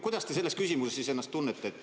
Kuidas te selles küsimuses ennast siis tunnete?